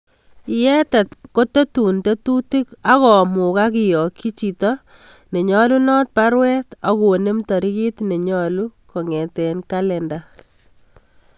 Yeteb kotetun tetutik ak komugak kiyakyi chita nenyalunat baruet ak konem tarikit nenyalu kong'eten kalenda